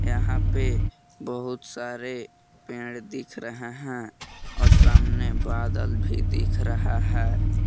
यहां पे बहुत सारे पेड़ दिख रहे हैं और सामने बादल भी दिख रहा है।